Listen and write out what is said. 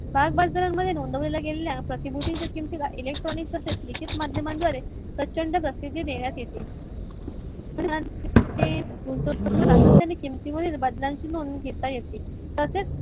भागबाजारात नियामून दिलेल्या प्र्तीभूतीच्या किमतीला electronic मध्यांन द्वारे लिखित पद्धतीने प्रचंड प्रसिद्धी देण्यात येते. गुंतवणूक सातत्याने किमतीवरील बदलाची नोंद घेता येते. तसेच